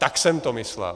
Tak jsem to myslel.